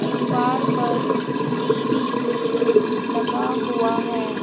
दीवार पर टी_वी भी लगा हुआ है।